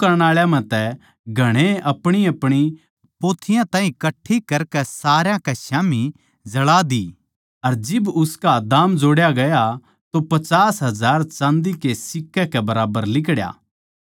जादू करण आळा म्ह तै घणाए नै अपणीअपणी पोथियाँ कट्ठी करकै सारया कै स्याम्ही जळा दी अर जिब उसका दाम जोड़या गया तो पचास हजार चाँदी के सिक्के कै बराबर लिकड़या